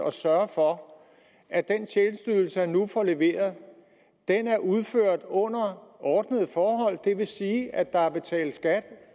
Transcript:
at sørge for at den tjenesteydelse der nu leveres er udført under ordnede forhold det vil sige at der er betalt skat